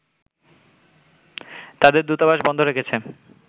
তাদের দূতাবাস বন্ধ রেখেছে